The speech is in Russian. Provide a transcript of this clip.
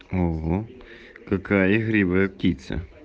угу какая игривая птица